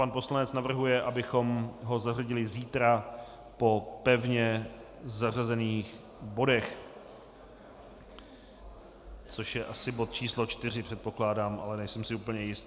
Pan poslanec navrhuje, abychom ho zařadili zítra po pevně zařazených bodech, což je asi bod číslo 4, předpokládám, ale nejsem si úplně jist.